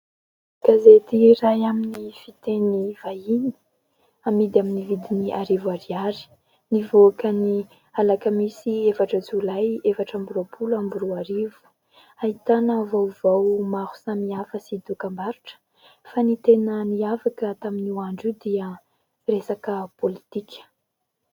Gazety iray amin'ny fiteny vahiny amidy amin'ny vidiny arivo ariary. Nivoaka ny Alakamisy efatra jolay efatra ambin'ny roapolo amby roarivo, ahitana vaovao maro samihafa sy dokam-barotra fa ny tena niavaka tamin'ny io andro io dia resaka politika.